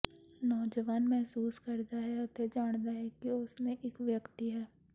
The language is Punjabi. ਨੌਜਵਾਨ ਮਹਿਸੂਸ ਕਰਦਾ ਹੈ ਅਤੇ ਜਾਣਦਾ ਹੈ ਕਿ ਉਸ ਨੇ ਇੱਕ ਵਿਅਕਤੀ ਹੈ